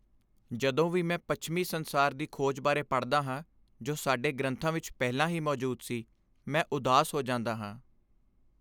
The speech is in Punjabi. ਜਦੋਂ ਵੀ ਮੈਂ ਪੱਛਮੀ ਸੰਸਾਰ ਦੀ "ਖੋਜ" ਬਾਰੇ ਪੜ੍ਹਦਾ ਹਾਂ ਜੋ ਸਾਡੇ ਗ੍ਰੰਥਾਂ ਵਿੱਚ ਪਹਿਲਾਂ ਹੀ ਮੌਜੂਦ ਸੀ, ਮੈਂ ਉਦਾਸ ਹੋ ਜਾਂਦਾ ਹਾਂ।